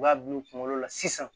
U b'a dun u kunkolo la sisan